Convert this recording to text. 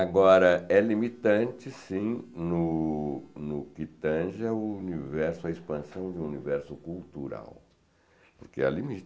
Agora, é limitante, sim, no no que tanja a expansão do universo cultural, porque há